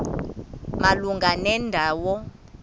malunga nenda wo